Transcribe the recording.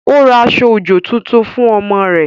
Ó ra aṣọ-òjò tuntun fún ọmọ rẹ̀